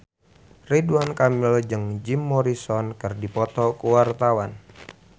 Ridwan Kamil jeung Jim Morrison keur dipoto ku wartawan